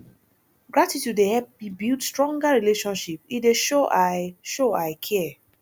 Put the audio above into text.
gratitude dey help me build stronger relationships e dey show i show i care